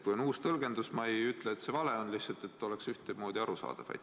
Kui on uus tõlgendus, siis ma ei ütle, et see vale on, lihtsalt võiks olla ühtemoodi arusaadav.